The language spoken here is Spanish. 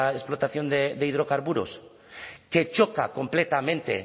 explotación de hidrocarburos que choca completamente